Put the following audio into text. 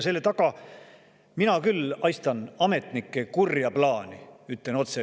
Selle taga mina küll haistan ametnike kurja plaani, ütlen otse.